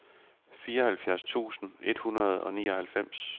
fireoghalvtreds tusind et hundrede og nioghalvfems